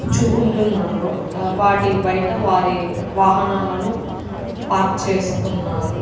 ఉంటున్నారు వాటి బయట వారి వాహనాలను పార్క్ చేసుకున్నారు.